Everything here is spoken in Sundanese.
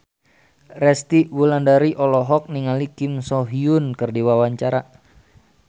Resty Wulandari olohok ningali Kim So Hyun keur diwawancara